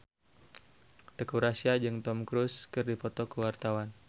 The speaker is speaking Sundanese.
Teuku Rassya jeung Tom Cruise keur dipoto ku wartawan